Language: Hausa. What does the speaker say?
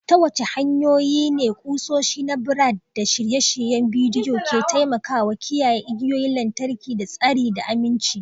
Ta wace hanyoyi ne kusoshi na brad da shirye-shiryen bidiyo ke taimakawa kiyaye igiyoyin lantarki da tsari da aminci?